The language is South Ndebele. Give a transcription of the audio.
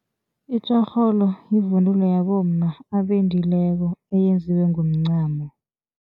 Itjorholo yivunulo yabomma abendileko eyenziwe ngomncamo.